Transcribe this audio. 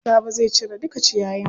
Sabo zai cire duka ciyayin.